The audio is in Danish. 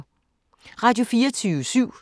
Radio24syv